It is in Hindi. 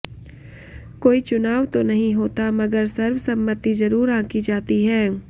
कोई चुनाव तो नहीं होता मगर सर्वसम्मति जरूर आंकी जाती है